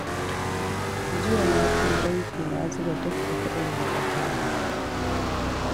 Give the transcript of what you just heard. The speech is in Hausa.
Jiya na je banki na zuba dukka kuɗin da na tara